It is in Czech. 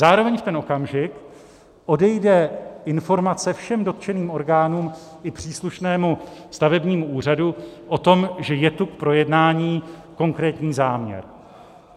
Zároveň v ten okamžik odejde informace všem dotčený orgánům i příslušnému stavebnímu úřadu o tom, že je tu k projednání konkrétní záměr.